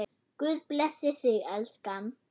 Guð blessi þig, elskan.